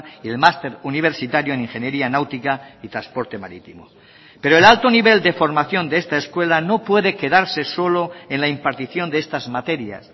y el máster universitario en ingeniería náutica y transporte marítimo pero el alto nivel de formación de esta escuela no puede quedarse solo en la impartición de estas materias